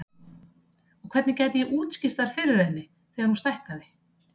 Og hvernig gæti ég útskýrt þær fyrir henni þegar hún stækkaði?